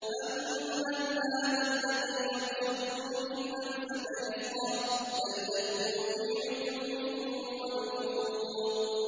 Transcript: أَمَّنْ هَٰذَا الَّذِي يَرْزُقُكُمْ إِنْ أَمْسَكَ رِزْقَهُ ۚ بَل لَّجُّوا فِي عُتُوٍّ وَنُفُورٍ